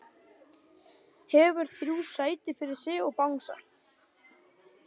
Hefur þrjú sæti fyrir sig og bangsa.